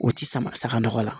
U ti sama nɔgɔ la